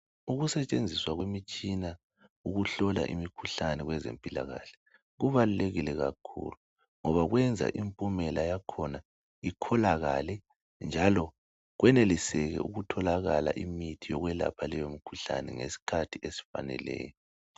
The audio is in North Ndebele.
Ukusetshenziswa kwemitshina ukuhlola imikhuhlane kwezempilakhle kubalulekile kakhulu ngoba kwenza impumela yakhona ikholakale, njalo kweneliseke ukutholakala imithi yokwelapha leyo mkhuhlane ngesikhathi esifaneleyo.